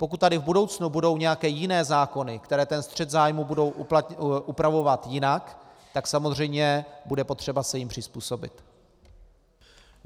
Pokud tady v budoucnu budou nějaké jiné zákony, které ten střet zájmů budou upravovat jinak, tak samozřejmě bude potřeba se jim přizpůsobit.